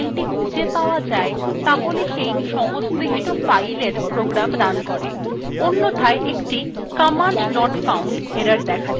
যদি filethe খুঁজে পাওয়া যায় তাহলে সেই সংশ্লিষ্ট file এর program রান করে অন্যথায় একটি command not found error দেখা যায়